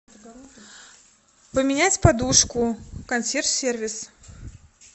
поменять подушку консьерж сервис